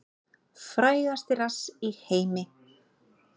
Frægasti rass í heimi